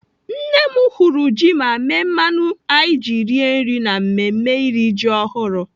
Nne m hụrụ ji ma mee mmanụ anyị ji rie nri na mmemme iri ji ọhụrụ..